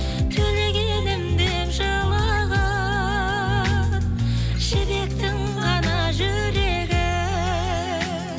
төлегенім деп жылаған жібектің ғана жүрегі